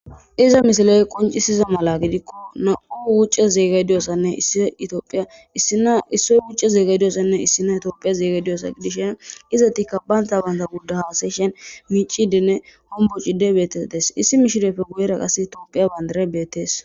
iza misaley qoncisiza mala gidikko na7u wucce zeega diyossanne issi itioophiya issina issoy bucce zeega diyossanne issina itoophiya zeega diyosa gidishen izatikka baynta baynta gudda haasayshen miicidene hombocide beetes dees issi mishirepfe guyera qas itoopiya bandare beettees